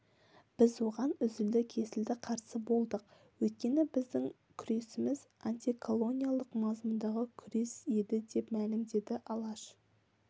біз оған үзілді-кесілді қарсы болдық өйткені біздің күресіміз антиколониалдық мазмұндағы күрес еді деп мәлімдеді алаш